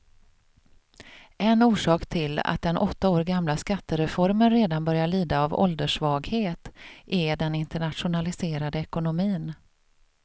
En orsak till att den åtta år gamla skattereformen redan börjar lida av ålderssvaghet är den internationaliserade ekonomin.